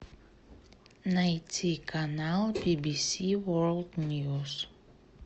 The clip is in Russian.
найти канал би би си ворлд ньюс